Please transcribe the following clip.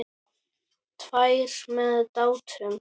Tvær með Dátum.